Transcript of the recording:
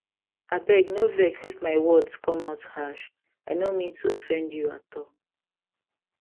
abeg no vex if my words come out harsh i no mean to offend you at all